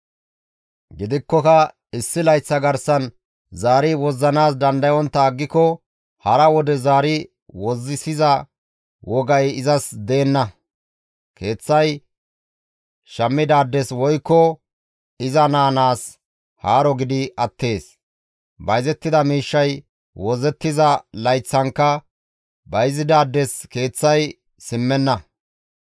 Gidikkoka issi layththa garsan zaari wozzanaas dandayontta aggiko hara wode zaari wozzisiza wogay izas deenna; keeththay shammidaades woykko iza naa naas haaro gidi attees; bayzettida miishshay wozzettiza layththankka bayzidaades keeththay simmenna.